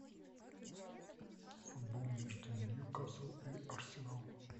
футбол между ньюкасл и арсенал